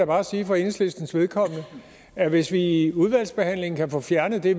bare sige for enhedslistens vedkommende at hvis vi i udvalgsbehandlingen kan få fjernet det